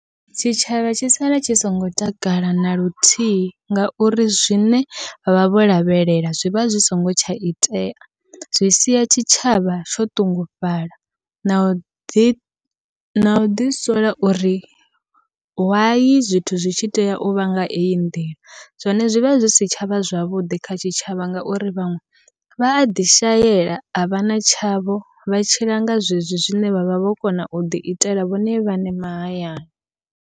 Tshitshavha tshi sala tshi songo takala naluthihi, ngauri zwine vha vha vho lavhelela zwivha zwi songo tsha itea. Zwi sia tshitshavha tsho ṱungufhala na uḓi na uḓi sola uri why zwithu zwi tshi tea uvha nga eyi nḓila. Zwone zwivha zwisi tshavha zwavhuḓi kha tshitshavha, ngauri vhaṅwe vha aḓi shaela a vha na tshavho vha tshila nga zwezwi zwine vhavha vho kona uḓi itela vhone vhaṋe mahayani.